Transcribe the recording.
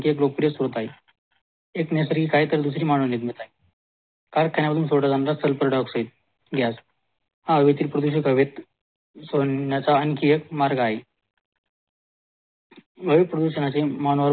एक नैसर्गिक आहे तर दुसरी मानवनिर्मित आहे कारखान्या मधून सोडला जाणारा सल्फरडाय ऑक्साईड गॅस हा हेवेतील प्रदुषकेत सोडण्याचा आणखी एक मार्ग आहे वायू प्रदूषणाचे मानवावर